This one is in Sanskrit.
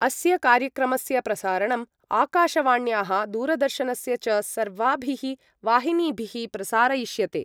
अस्य कार्यक्रमस्य प्रसारणम् आकाशवाण्याः दूरदर्शनस्य च सर्वाभि वाहिनीभिः प्रसारयिष्यते।